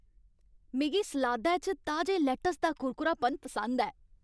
मिगी सलादै च ताजे लैट्टस दा कुरकुरापन पसंद ऐ।